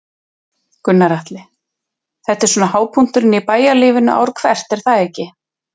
Gunnar Atli: Þetta er svona hápunkturinn í bæjarlífinu ár hvert er það ekki?